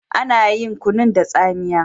Ana yin kunun da tsamiya.